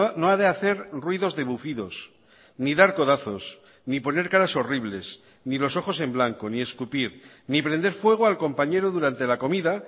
no ha de hacer ruidos de bufidos ni dar codazos ni poner caras horribles ni los ojos en blanco ni escupir ni prender fuego al compañero durante la comida